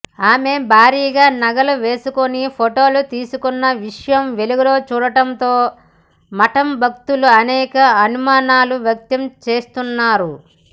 ఆమె భారీగా నగలు వేసుకుని ఫోటోలు తీసుకున్న విషయం వెలుగు చూడటంతో మఠం భక్తులు అనేక అనుమానాలు వ్యక్తం చేస్తున్నారు